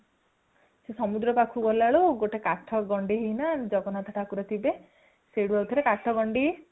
ସିଏ ସମୁଦ୍ର ପାଖକୁ ଗଲାବେଲକୁ ଗୋଟେ କାଠ ଗଣ୍ଡି ନା ଜଗନ୍ନାଥ ଠାକୁର ଥିବେ ସେଠୁ ଆଉ ଥରେ କାଠ ଗଣ୍ଡି